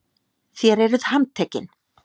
Þér eruð handtekinn!